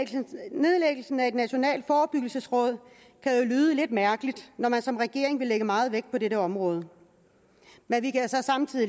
nedlæggelsen af det national forebyggelsesråd kan jo lyde lidt mærkeligt når man som regeringen vil lægge meget vægt på dette område men vi kan så samtidig